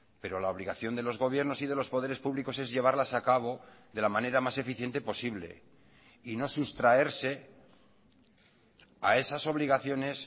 pero la obligación de los gobiernos y de los poderes públicos es llevarlas a cabo de la manera más eficiente posible y no sustraerse a esas obligaciones